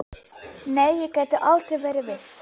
Nei, ég get aldrei verið viss.